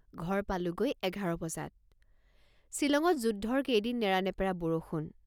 ঘৰ পালোগৈ এঘাৰ বজাত। ছিলঙত যুদ্ধৰ কেইদিন নেৰানেপেৰা বৰষুণ।